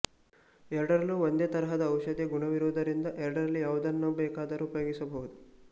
ಎರಡರಲ್ಲೂ ಒಂದೇ ತರಹದ ಔಷಧಿಯ ಗುಣವಿರುವುದರಿಂದ ಎರಡರಲ್ಲಿ ಯಾವುದನ್ನು ಬೇಕಾದರೂ ಉಪಯೋಗಿಸಬಹುದು